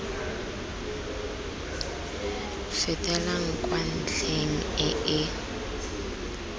fetelang kwa ntlheng e e